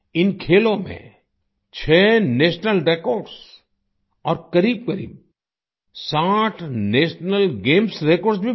इन खेलों में छह नेशनल रेकॉर्ड्स और करीबकरीब 60 नेशनल गेम्स रेकॉर्ड्स भी बने